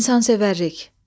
İnsansevərlik.